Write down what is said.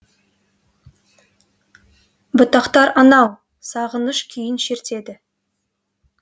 бұтақтар анау сағыныш күйін шертеді